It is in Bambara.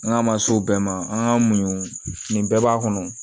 N'a ma s'o bɛɛ ma an ka muɲu nin bɛɛ b'a kɔnɔ